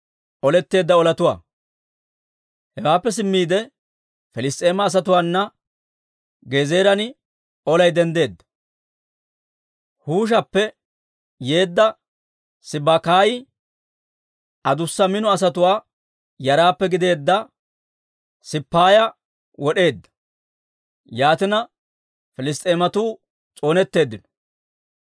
Hewaappe simmiide, Piliss's'eema asatuwaana Gezeeran olay denddeedda; Huushappe yeedda Sibbakaayi adussa mino asatuwaa yaraappe gideedda Sippaaya wod'eedda. Yaatina, Piliss's'eematuu s'oonetteeddino.